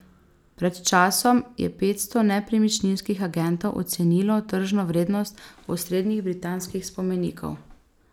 Pred časom je petsto nepremičninskih agentov ocenilo tržno vrednost osrednjih britanskih spomenikov.